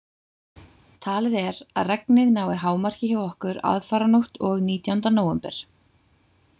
Talið er að regnið nái hámarki hjá okkur aðfaranótt og nítjánda nóvember.